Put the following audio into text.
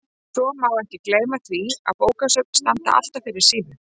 Svo má ekki gleyma því að bókasöfn standa alltaf fyrir sínu.